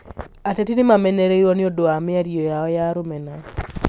Ateti nĩ mamenereĩirio nĩ ũndũ wa mĩario yao ya rũmena